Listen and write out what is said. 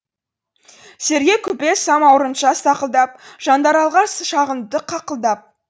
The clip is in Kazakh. сергей купес самаурынша сақылдап жандаралға шағыныпты қақылдап